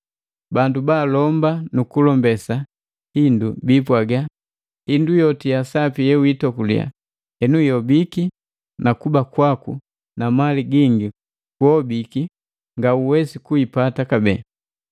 Bandu baalomba nukulombesa hindu biipwaga, “Hindu yoti yasapi yewiitokulia enu ihobiki na kuba kwaku na mali gingi kuobiki ngauwesi kuipata kabee!”